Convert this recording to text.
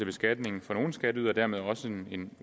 beskatningen for nogle skatteydere og dermed også en